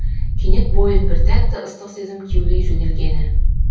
кенет бойын бір тәтті ыстық сезім кеулей жөнелгені